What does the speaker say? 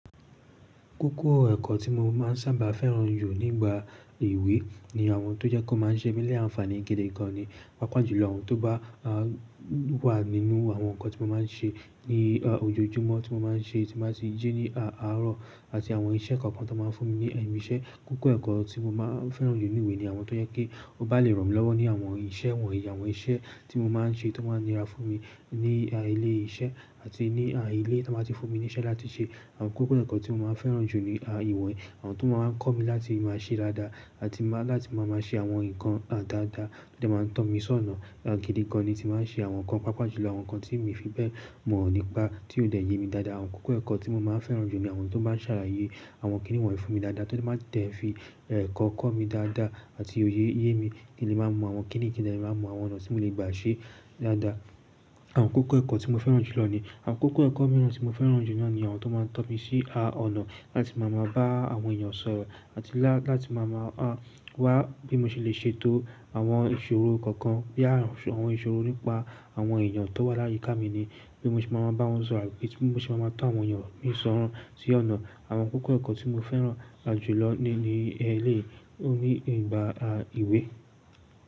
Kókó ẹ̀kọ́ tí mo máa ń sábà fẹ́ràn jù nígbà ìwé ni àwọn tó jẹ́ pe o máa ń ṣe mí ní àǹfààní gidi gan ni. Pápá jù lọ, àwọn tó bá wà nínú àwọn nǹkan tí mo máa ń ṣe ní ojoojúmọ́ tí mo máa ń ṣe tí màá ti jí ní àárọ̀ àti àwọn isẹ́ kookan ti won máa ń fún mi ní ẹ̀nu ise. Kókó ẹ̀kọ́ tí mo máa ń fẹ́ràn jù ní ìwé ni àwọn tó jẹ́ pé ó bá lè ràn mí lọ́wọ́ ní àwọn iṣẹ́ wọ̀nyí. Àwọn iṣẹ́ tí mo máa ń ṣe tó máa ń nira fún mi ní ilé iṣẹ́ àti ní ilé tí wọ́n bá ti fún mi níṣẹ́ láti ṣe. Àwọn kókó ẹ̀kọ́ tí mo máa ń fẹ́ràn jù ní ìwọ̀n yìí, àwọn tó máa ń kọ́ mi láti máa ṣe dáadáa àti máa láti máa máa ṣe àwọn nǹkan dáadáa tó dẹ̀ máa ń tọ́ mi sọ́nà gidi gan ni tímbá ṣe àwọn nǹkan. Pàápàá jùlọ àwọn nǹkan tí mi ò fi bẹ́ẹ̀ mọ̀ nípa tí ò dẹ̀ yé mi dáadáa. Àwọn kókó ẹ̀kọ́ tí mo máa ń fẹ́ràn jù ni àwọn tó bá ń ṣàlàyé àwọn kíni wọ́n yìí fún mi dáadáa tóríti ó máa ń ti ẹ̀ fi ẹ̀kọ́ kọ́ mi dáadáa àti oyé yé mi kí n lè máa mọ àwọn kíni yìí kí n lè máa mọ àwọn ọ̀nà tí mo lè gbà ṣe é dáadáa. Àwọn àkókò ẹ̀kọ́ tí mo fẹràn jùlọ ni àkókò ẹ̀kọ́ mìíran tí mo fẹràn jù náà ni àwọn tó máa ń tọ́mi sí ọ̀nà láti máa ma bá àwọn èèyàn sọ̀rọ̀ àti láti máa ma wá bí mo ṣe lè ṣèto àwọn ìṣòro kọ̀ọ̀kan. Àwọn àkókò ẹ̀kọ́ tí mo fẹ́ràn jùlọ ni. Àkókò ẹ̀kọ́ mìíràn tí mo fẹ́ràn jù náà ni àwọn tó máa ń tọ́mi sí ọ̀nà láti máa ma bá àwọn èèyàn sọ̀rọ̀ àti láti máa ma wá bí mo ṣe lè ṣètò àwọn ìṣòro kọ̀ọ̀kan. Bí àwọn ìṣòro nípa àwọn èèyàn tó wà láyé ká mi ni bí mo ṣe máa ń bá wọn sọ̀rọ̀ àbí bí mo ṣe máa ń tọ́ àwọn èèyàn mìíràn sọ̀rọ̀ sí ọ̀nà.